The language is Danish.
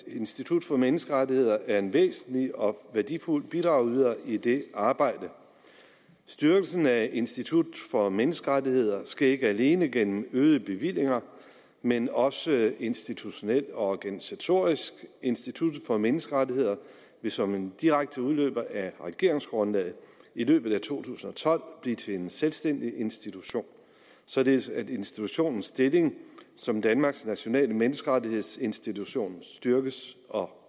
institut for menneskerettigheder er en væsentlig og værdifuld bidragyder i det arbejde styrkelsen af institut for menneskerettigheder sker ikke alene gennem øgede bevillinger men også institutionelt og organisatorisk instituttet for menneskerettigheder vil som en direkte udløber af regeringsgrundlaget i løbet af to tusind og tolv blive til en selvstændig institution således at institutionens stilling som danmarks nationale menneskerettighedsinstitution styrkes og